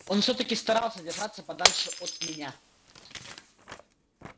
он всё-таки старался держаться подальше от меня